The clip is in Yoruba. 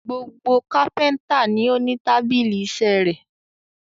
Gbogbo kápẹ́ńtà ni ó ní tábìlì iṣẹ́ rẹ̀.